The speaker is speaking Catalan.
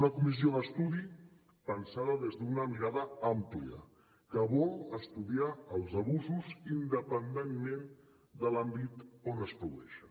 una comissió d’estudi pensada des d’una mirada àmplia que vol estudiar els abusos independentment de l’àmbit on es produeixen